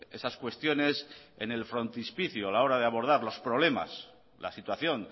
esas cuestiones en el frontispicio a la hora de abordar los problemas la situación